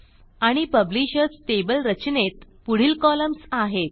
आणि publishers table रचनेत पुढील कॉलम्स आहेत